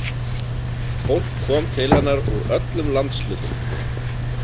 Fólk kom til hennar úr öllum landshlutum.